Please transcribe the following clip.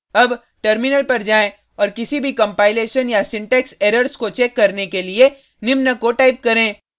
अब टर्मिनल पर जाएँ और किसी भी कंपाइलेशन या सिंटेक्स एरर्स को चेक करने के लिए निम्न को टाइप करें